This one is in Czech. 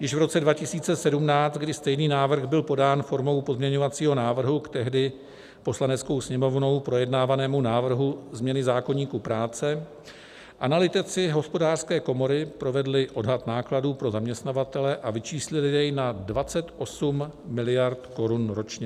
Již v roce 2017, kdy stejný návrh byl podán formou pozměňovacího návrhu k tehdy Poslaneckou sněmovnou projednávanému návrhu změny zákoníku práce, analytici Hospodářské komory provedli odhad nákladů pro zaměstnavatele a vyčíslili jej na 28 miliard korun ročně.